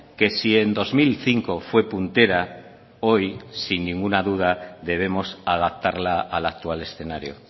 que si en dos mil cinco fue puntera hoy sin ninguna duda debemos adaptarla al actual escenario